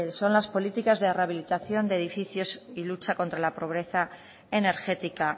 son las políticas de rehabilitación de edificios y lucha contra la pobreza energética